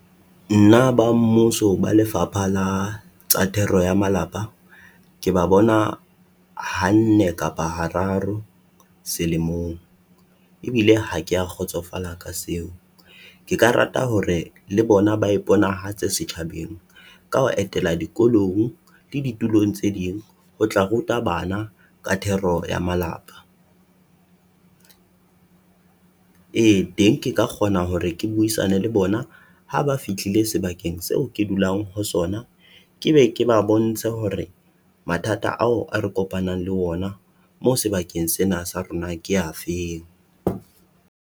Nna ba mmuso ba Lefapha la tsa Thero ya Malapa, ke ba bona ha nne kapa hararo selemong. Ebile ha kea kgotsofala ka seo, ke ka rata hore le bona ba iponahatse setjhabeng ka ho etela dikolong le ditulong tse ding ho tla ruta bana ka thero ya malapa. Ee teng ke ka kgona hore ke buisane le bona. Ha ba fihlile sebakeng seo ke dulang ho sona, ke be ke ba bontshe hore mathata ao a re kopanang le ona moo sebakeng sena sa rona ke afeng.